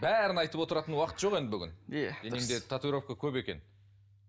бәрін айтып отыратын уақыт жоқ енді бүгін денеңде татуировка көп екен